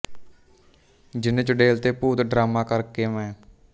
ਜਿੰਨ ਚੁੜੇਲ ਤੇ ਭੂਤ ਡਰਾਮਾ ਕਰ ਕੇ ਮੈਂ